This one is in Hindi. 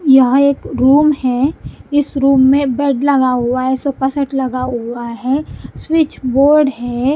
यहां एक रूम है इस रूम में बेड लगा हुआ है सोफा सेट लगा हुआ है स्विच बोर्ड है।